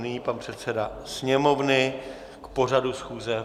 Nyní pan předseda Sněmovny k pořadu schůze.